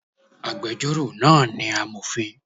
Agbẹjọ́rò náà ni amòfin